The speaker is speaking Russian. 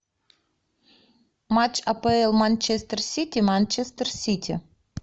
матч апл манчестер сити манчестер сити